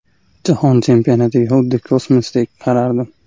Jahon chempionatiga xuddi kosmosdek qarardim.